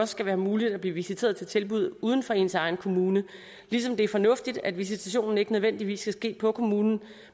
skal være muligt at blive visiteret til tilbud uden for ens egen kommune ligesom det er fornuftigt at visitationen ikke nødvendigvis skal ske på kommunen